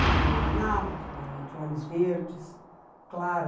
Ele é um homem alto, um homem de olhos verdes, claro.